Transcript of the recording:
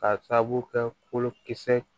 K'a sababu kɛ kolokisɛ